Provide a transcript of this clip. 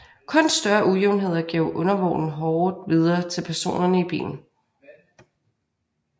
Kun større ujævnheder gav undervognen hårdt videre til personerne i bilen